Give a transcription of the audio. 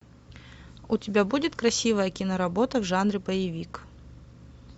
у тебя будет красивая киноработа в жанре боевик